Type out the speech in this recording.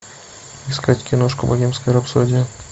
искать киношку богемская рапсодия